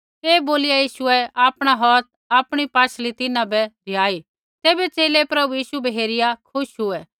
ऐ बोलिया यीशुऐ आपणा हौथ आपणी पाशल़ी तिन्हां बै रिहाऐ तैबै च़ेले प्रभु यीशु बै हेरिया खुश हुऐ